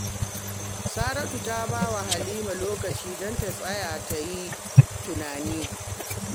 Saratu ta ba wa Halima lokaci don ta tsaya ta yi tunani